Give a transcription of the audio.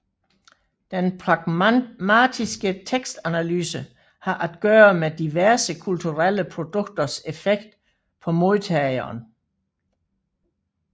Den pragmatiske tekstanalyse har at gøre med diverse kulturelle produkters effekt på modtageren